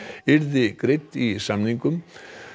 yrði greidd í samningnum